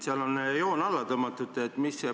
Seal on sellele parandusele joon alla tõmmatud.